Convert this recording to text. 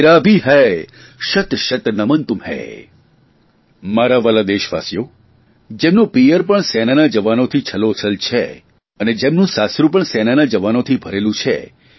મારા વ્હાલા દેશવાસીઓ દેશવાસીઓ જેમનું પિયર પણ સેનાના જવાનોથી છલોછલ છે અને જેમનું સાસરૂં પણ સેનાના જવાનોથી ભરેલું છે